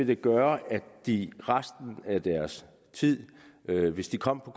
det gøre at de resten af deres tid hvis de kom på